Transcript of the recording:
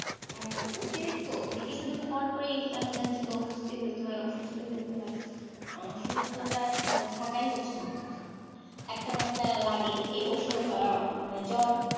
উম তো মানে কিছু দিন পর পরেই কেন জানি শুধু অসুস্থ হইতে হয় অসুস্থ হইতে হয়, আহ সুস্থ তো আর থাকাই হচ্ছে না, একটা না একটা লাগেই এই অসুখ মানে জ্বর,